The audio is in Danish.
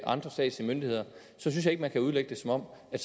andre statslige myndigheder synes jeg ikke man kan udlægge det som om der